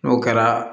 N'o kɛra